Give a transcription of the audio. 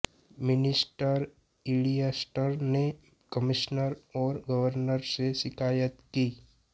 mister इलियस्टर ने commissioner और गवर्नर से शिकायत की